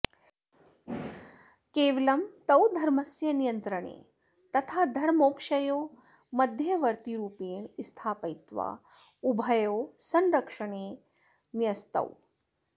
केवलं तौ धर्मस्य नियन्त्रणे तथा धर्ममोक्षयोः मध्यवर्तिरुपेण स्थापयित्वा उभयोः संरक्षणे न्यस्तौ